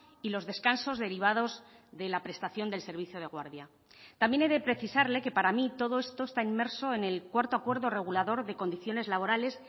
y los descansos derivados de la prestación del servicio de guardia también he de precisarle que para mí todo esto está inmerso en el cuarto acuerdo regulador de condiciones laborales